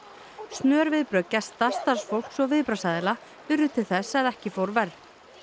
snör viðbrögð gesta starfsfólks og viðbragðsaðila urðu til þess að ekki fór verr